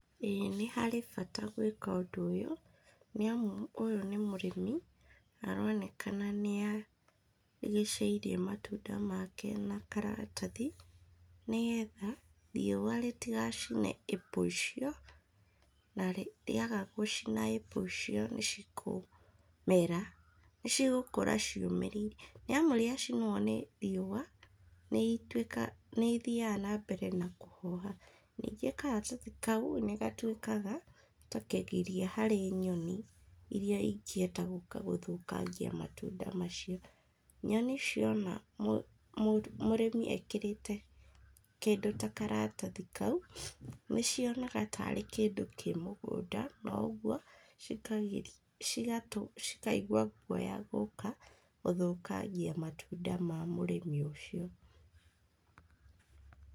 ĩĩ nĩ harĩ bata gũĩka ũndũ ũyũ nĩ amu ũyũ nĩ mũrĩmi na aronekana nĩ arigicĩirie matunda make na karatathi nĩgetha riũa rĩtigacine apple icio na riũa rĩaga gũcina apple icio nĩcikũmera, nĩcigũkũra ciũmĩrĩirie nĩ amu ciacinũo nĩ riũa nĩ ithiaga na mbere na kũhoha. Ningĩ karatathi kau nĩ gatuĩkaga ta kĩgiria harĩ nyoni irĩa ingĩenda gũka gũthũkagia matunda macio. Nyoni ciona mũrĩmi ekĩrĩte kĩndũ ta karatathi kau, nĩ cionaga tarĩ kĩndũ kĩ mũgũnda na ũguo cikaigua guoya gũka gũthũkangia matunda ma mũrĩmi ũcio.